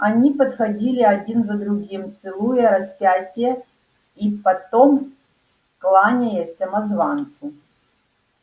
они подходили один за другим целуя распятие и потом кланяясь самозванцу